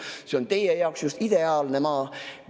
Ta on teie jaoks just ideaalne maa.